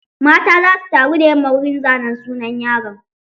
Mata za su taru da yamma wurin zanen sunan yaron.